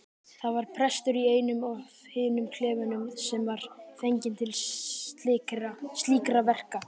Það var prestur í einum af hinum klefunum sem var fenginn til slíkra verka.